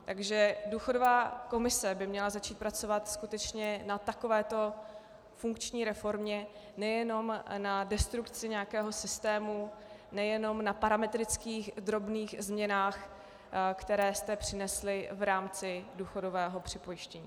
Takže důchodová komise by měla začít pracovat skutečně na takovéto funkční reformě, nejenom na destrukci nějakého systému, nejenom na parametrických drobných změnách, které jste přinesli v rámci důchodového připojištění.